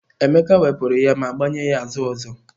Emeka wepụrụ ya ma gbanye ya azụ ọzọ.